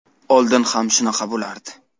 Oldin ham shunaqa bo‘lardi.